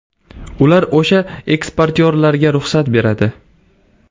Ular o‘sha eksportyorlarga ruxsat beradi.